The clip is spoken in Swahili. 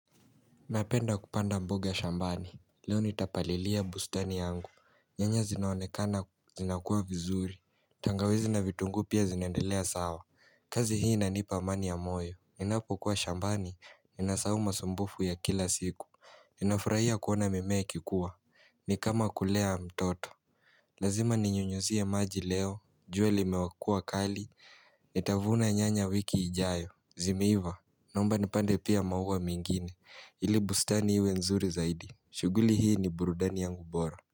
Napenda kupanda mboga shambani, leo nitapalilia bustani yangu, nyanya zinaonekana zinakuwa vizuri, tangawizi na vitungu pia zinaendelea sawa kazi hii inanipa amani ya moyo, ninapo kuwa shambani, ninasahau masumbufu ya kila siku, ninafurahia kuona mimea ikikuwa, nikama kulea mtoto Lazima ninyunyizie maji leo, jua limekuwa kali, nitavuna nyanya wiki ijayo, zimeiva, naomba nipande pia maua mengine, ili bustani iwe nzuri zaidi, shuguli hii ni burudani yangu bora.